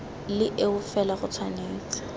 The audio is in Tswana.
le eo fela go tshwanetse